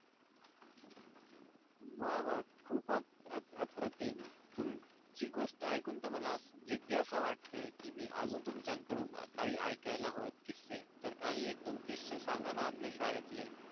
वाह वाह superb खूपच अप्रतिम हि गोष्ट ऐकून तर मला जिज्ञासा वाटते कि मी आजही तुमच्याकडून ऐकायला हवाय तर काही एक दोन सांगा ना आपल्या शाळेतले